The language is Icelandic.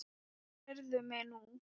Heyrðu mig nú!